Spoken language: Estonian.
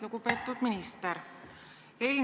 Lugupeetud minister!